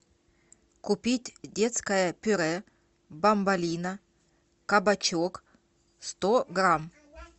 купить детское пюре бамболино кабачок сто грамм